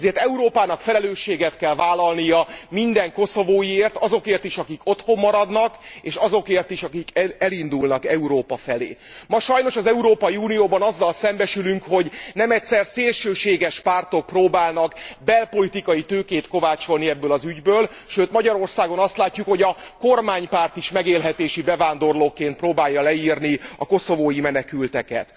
Ezért Európának felelősséget kell vállalnia minden koszovóiért, azokért is, akik otthon maradnak, és azokért is, akik elindulnak Európa felé, Ma sajnos az Európai Unióban azzal szembesülünk, hogy nemegyszer szélsőséges pártok próbálnak belpolitikai tőkét kovácsolni ebből az ügyből, sőt Magyarországon azt látjuk, hogy a kormánypárt is megélhetési bevándorlókként próbálja leírni a koszovói menekülteket.